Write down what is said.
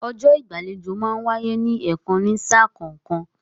Ọjọ́ ìgbàlejò máa ń wáyé ní ẹ̀kan ní sà kọ̀ọ̀kan